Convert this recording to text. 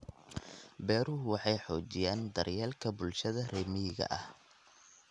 Beeruhu waxay xoojiyaan daryeelka bulshada reer miyiga ah.